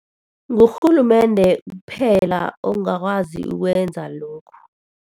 Ngurhulumende kuphela ongakwazi ukwenza lokhu.